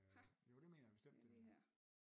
Ha det er lige her